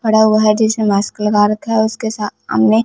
पड़ा हुआ है जिसने मास्क लगा रखा है उसके सा आमने--